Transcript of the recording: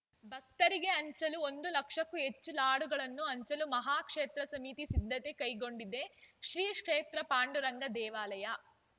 ಭಕ್ತರಿಗೆ ಹಂಚಲು ಒಂದು ಲಕ್ಷಕ್ಕೂ ಹೆಚ್ಚು ಲಾಡುಗಳನ್ನು ಹಂಚಲು ಮಹಾಕ್ಷೇತ್ರ ಸಮಿತಿ ಸಿದ್ಧತೆ ಕೈಗೊಂಡಿದೆ ಶ್ರೀ ಕ್ಷೇತ್ರ ಪಾಂಡುರಂಗ ದೇವಾಲಯ